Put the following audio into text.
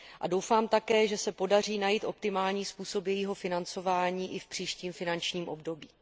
A doufám také, že se podaří najít optimální způsob jejího financování i v příštím finančním období.